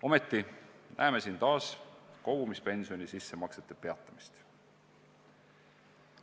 Ometi näeme siin taas kogumispensioni sissemaksete peatamist.